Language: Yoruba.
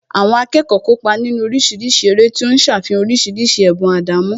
Àwọn akẹ́kọ̀ọ́ kópa nínú oríṣiríṣi eré tí ó ń ṣàfihàn oríṣiríṣi ẹ̀bùn àdámọ́